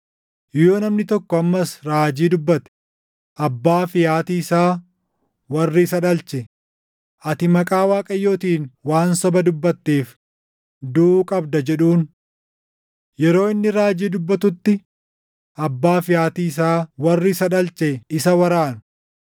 Yoo namni tokko ammas raajii dubbate, abbaa fi haati isaa, warri isa dhalche, ‘Ati maqaa Waaqayyootiin waan soba dubbatteef duʼuu qabda’ jedhuun. Yeroo inni raajii dubbatutti abbaa fi haati isaa warri isa dhalche isa waraanu.